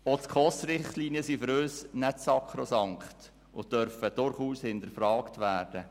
Auch die SKOS-Richtlinien sind für uns nicht sakrosankt und dürfen durchaus hinterfragt werden.